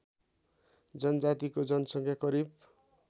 जनजातिको जनसङ्ख्या करिब